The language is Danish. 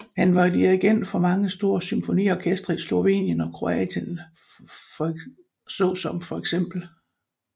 Han var dirigent for mange store symfoniorkestre i Slovenien og Kroatien såsom feks